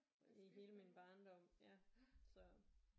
I hele min barndom ja så